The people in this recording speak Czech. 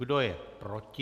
Kdo je proti?